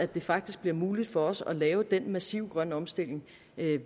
det faktisk bliver muligt for os at lave den massive grønne omstilling